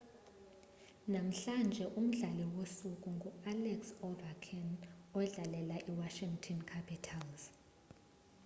namhlanje umdlali wosuku ngualex ovechkin odlalela iwashington capitals